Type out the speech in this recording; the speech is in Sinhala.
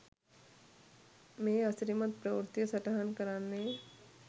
මේ අසිරිමත් ප්‍රවෘත්තිය සටහන් කරන්නේ